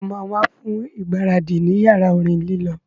Sọ ma wá fún ìgbáradì ní yàrá orin lílọ